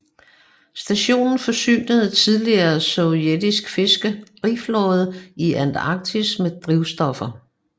Stationen forsynede tidligere sovjets fiskeriflåde i Antarktis med drivstoffer